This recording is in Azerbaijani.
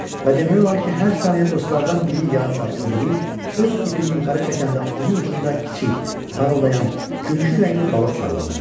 Və demək olar ki, hər saniyə dostlardan biri yada o biri öz ipini yuxarı çəkəndə onun ucunda kiçik, parıldayan, gümüşü rəngli balıq sallanırdı.